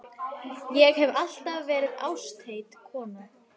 Ég hef alltaf verið ástheit kona.